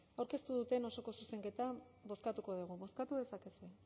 aurkeztu duten osoko zuzenketa bozkatuko dugu bozkatu dezakegu